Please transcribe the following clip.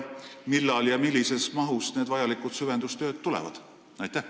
Millal ja millises mahus tulevad vajalikud süvendustööd?